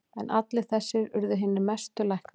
En allir þessir urðu hinir mestu læknar.